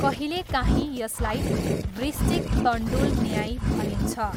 कहिलेकाहीँ यसलाई वृश्चिक तण्डुल न्याय भनिन्छ।